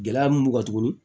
Gɛlɛya mun b'u kan tuguni